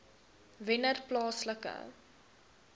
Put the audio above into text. wennerplaaslike